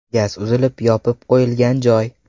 Gaz uzilib, yopib qo‘yilgan joy.